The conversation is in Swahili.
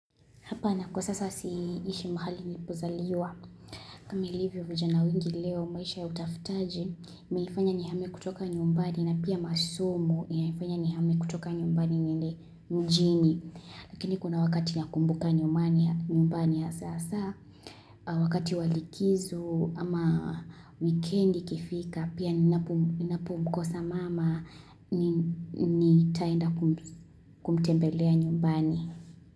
Hapa na kwa sasa siishi mahali nilipozaliwa. Kama ilivyo vijana wengi leo maisha ya utafutaji. Nilifanya nihame kutoka nyumbani na pia masomo. Ilinifanya nihame kutoka nyumbani niende mjini. Lakini kuna wakati nakumbuka nyumbani ya sasa. Wakati walikizo ama weekendi ikifika. Pia ninapomkosa mama nitaenda kumtembelea nyumbani.